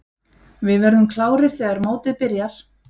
Við verðum klárir þegar mótið byrjar.